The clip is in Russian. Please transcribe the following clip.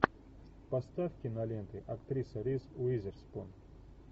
поставь киноленты актриса риз уизерспун